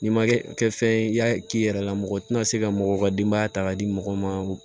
N'i ma kɛ kɛ fɛn ye i y'a k'i yɛrɛ la mɔgɔ tɛna se ka mɔgɔw ka denbaya ta k'a di mɔgɔw ma